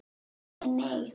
Nei, nei nei.